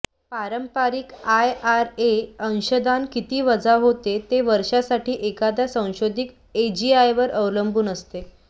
पारंपारिक आयआरए अंशदान किती वजा होते ते वर्षासाठी एखाद्या संशोधित एजीआयवर अवलंबून असते